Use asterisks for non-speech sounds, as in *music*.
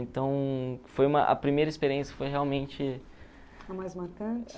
Então, foi uma a primeira experiência foi realmente... *unintelligible*